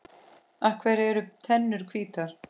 Af hverju eru tennur hvítar?